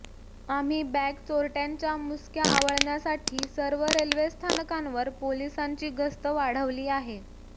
आम्ही बॅग चोरट्यांच्या मुसक्या आवळण्यासाठी सर्व रेल्वे स्थानकांवर पोलिसांची गस्त वाढवली आहे